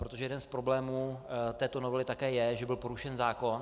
Protože jeden z problémů této novely také je, že byl porušen zákon.